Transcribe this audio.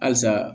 Halisa